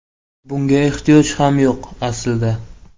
Bunga ehtiyoj ham yo‘q, aslida.